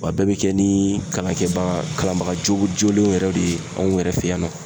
Wa bɛɛ bɛ kɛ ni kalankɛbaga kalanbaga joolenw yɛrɛ de ye anw yɛrɛ fɛ yan nɔ.